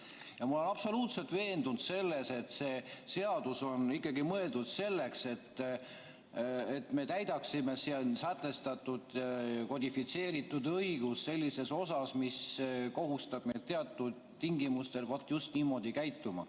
Ma olen absoluutselt veendunud selles, et see seadus on ikkagi mõeldud selleks, et me täidaksime siin sätestatud kodifitseeritud õigust sellises osas, mis kohustab meid teatud tingimustel vot just niimoodi käituma.